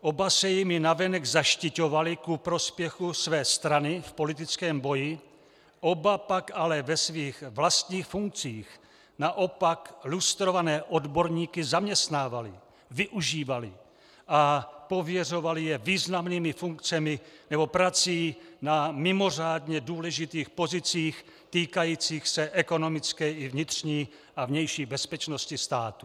Oba se jimi navenek zaštiťovali ku prospěchu své strany v politickém boji, oba pak ale ve svých vlastních funkcích naopak lustrované odborníky zaměstnávali, využívali a pověřovali je významnými funkcemi nebo prací na mimořádně důležitých pozicích týkajících se ekonomické i vnitřní a vnější bezpečnosti státu.